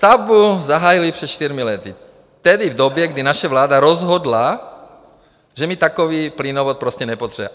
Stavbu zahájili před čtyřmi lety, tedy v době, kdy naše vláda rozhodla, že my takový plynovod prostě nepotřebujeme.